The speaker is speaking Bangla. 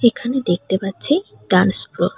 এখানে দেখতে পারছি ডান্স প্রো--